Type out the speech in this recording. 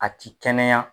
A ti kɛnɛya